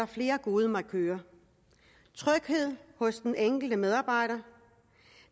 flere gode markører tryghed hos den enkelte medarbejder